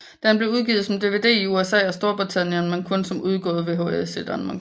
Den er blevet udgivet som DVD i USA og Storbritannien men kun som udgået VHS i Danmark